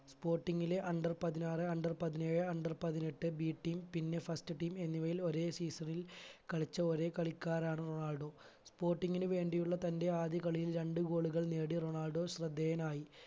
sporting ലെ under പതിനാറ് under പതിനേഴ് under പതിനെട്ട് b team പിന്നെ first team എന്നിവയിൽ ഒരേ season ൽ കളിച്ച ഒരേ കളിക്കാരാണ് റൊണാൾഡോ sporting ന് വേണ്ടിയുള്ള തന്റെ ആദ്യ കളിയിൽ രണ്ട് goal കൾ നേടി റൊണാൾഡോ ശ്രദ്ധേയനായി